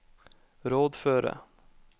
rådføre